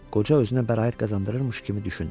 Qoca özünə bəraət qazandırmış kimi düşündü.